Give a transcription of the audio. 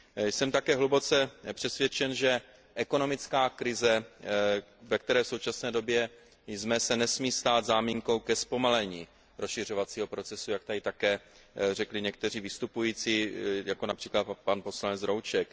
Jsem také hluboce přesvědčen, že ekonomická krize, ve které v současné době jsme, se nesmí stát záminkou ke zpomalení rozšiřovacího procesu, jak tady také řekli někteří vystupující, jako například pan poslanec Rouček.